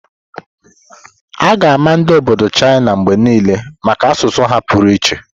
A ga-ama ndi obodo China mgbe niile maka asụsụ ha pụrụ iche.